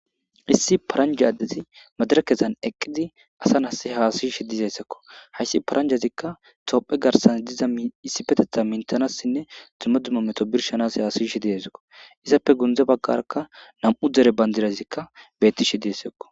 Haysi paranja adezi madirekezan eqidi asa nasi hasayishe dizaysako haysi parajazika tophe garsan diza issipetetha mitanasinne dumma dumma meto bishanas hasyishe dizasakko izape gude bagarakka nam'u dere bandirazi eqi utidaysakko